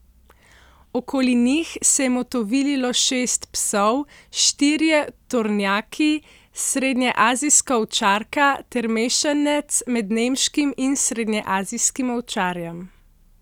Okoli njih se je motovililo šest psov, štirje tornjaki, srednjeazijska ovčarka ter mešanec med nemškim in srednjeazijskim ovčarjem.